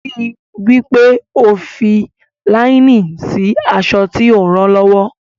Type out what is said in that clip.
Ríi wí pé o fi fi láínì sí aṣọ tí o ń ran lọ́wọ́.